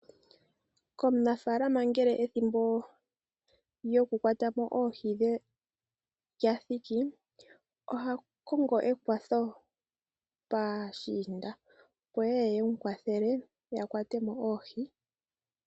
Komunafalama kehe ngele ethimbo lyokukwatamo oohi dhe lyathiki ohakongo ekwatho paashiinda opo yeye yemu kwathele yakwatemo oohi.